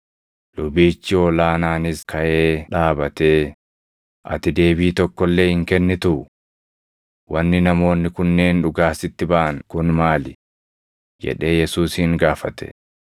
Lubichi ol aanaanis kaʼee dhaabatee, “Ati deebii tokko illee hin kennituu? Wanni namoonni kunneen dhugaa sitti baʼan kun maali?” jedhee Yesuusin gaafate.